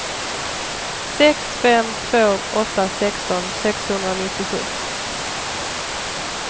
sex fem två åtta sexton sexhundranittiosju